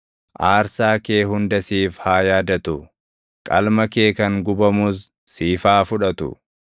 Aarsaa kee hunda siif haa yaadatu; qalma kee kan gubamus siif haa fudhatu.